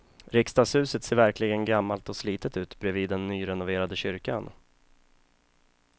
Riksdagshuset ser verkligen gammalt och slitet ut bredvid den nyrenoverade kyrkan.